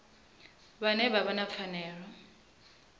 vhane vha vha na pfanelo